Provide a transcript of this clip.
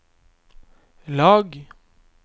lag